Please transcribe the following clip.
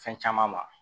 Fɛn caman ma